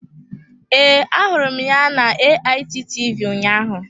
Ee, ahụrụ m ya na AIT TV ụnyaahụ.